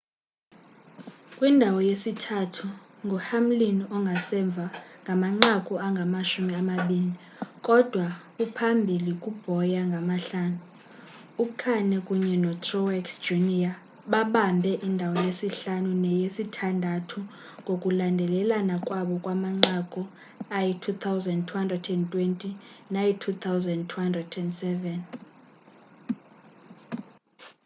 kwindawo yesithathu nguhamlin ongasemva ngamanqaku angamashumi amabini kudwa uphambili kubowyer ngamahlanu ukahne kunye notruex jr babambe indawo yesihlanu neyesithandathu ngokulandelelana kwabo ngamanqaku ayi-2,220 nayi-2,207